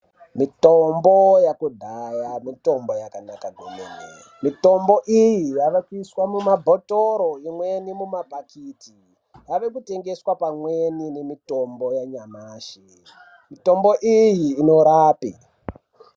Mitombo yakudhaya mitombo yakanaka kwemene, mitombo iyi yavekuyiswa mumabhotoro, imweni mumabhakiti, yave kutengeswa pamweni nemitombo yanyamashi, mitombo iyi inorape.